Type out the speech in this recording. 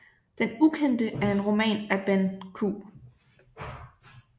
Den ukendte er en roman af Benn Q